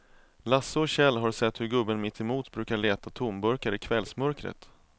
Lasse och Kjell har sett hur gubben mittemot brukar leta tomburkar i kvällsmörkret.